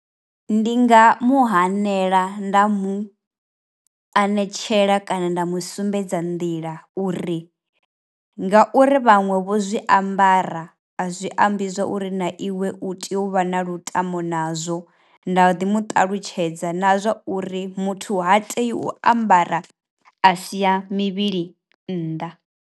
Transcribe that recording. Ndi nga muhanela nda mu anetshela kana nda mu sumbedza nḓila uri, ngauri vhaṅwe vho zwiambara a zwi ambiswa uri na iwe u tea u vha na lutamo nazwo nda ḓi muṱalutshedza na zwa uri muthu ha tei u ambara a siya mivhili nnḓa.